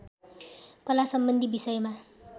कलासम्बन्धी विषयमा